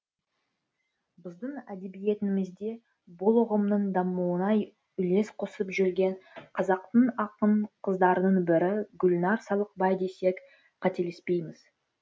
біздің әдебиетімізде бұл ұғымның дамуына үлес қосып жүрген қазақтың ақын қыздарының бірі гүлнар салықбай десек қателеспейміз